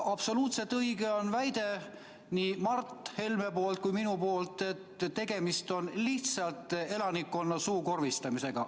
Absoluutselt õige on nii Mart Helme kui ka minu väide, et tegemist on lihtsalt elanikkonna suukorvistamisega.